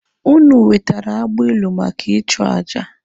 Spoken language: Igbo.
Ụnụ wetere agbilu maka ịchụ aja